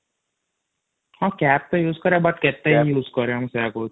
ହମ୍ମ cup ଟା use କରିବା but କେତେ ଇଉଜ କରିବା ମୁ ସେଇୟା କହୁଛି |